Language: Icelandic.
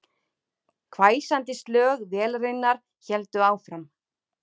Hvæsandi slög vélarinnar héldu áfram